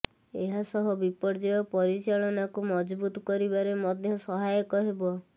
ଏହାସହ ବିପର୍ଯ୍ୟୟ ପରିଚାଳନାକୁ ମଜବୁତ୍ କରିବାରେ ମଧ୍ୟ ସହାୟକ ହେବ